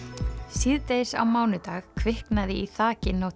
síðdegis á mánudag kviknaði í þaki Notre